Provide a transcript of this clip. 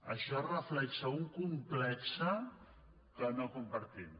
això reflecteix un complex que no compartim